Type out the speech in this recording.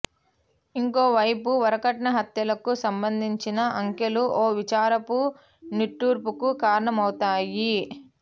ఇంకో వైపు వరకట్న హత్యలకు సంబంధించిన అంకెలు ఓ విచారపు నిట్టూర్పుకు కారణమౌతాయి